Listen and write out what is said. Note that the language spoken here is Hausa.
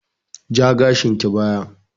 Ja gashinki baya!